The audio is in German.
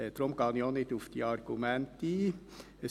Deshalb gehe ich auch nicht auf diese Argumente ein.